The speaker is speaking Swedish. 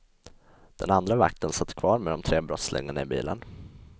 Den andra vakten satt kvar med de tre brottslingarna i bilen.